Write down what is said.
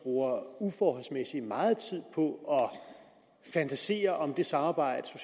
bruger uforholdsmæssig meget tid på at fantasere om det samarbejde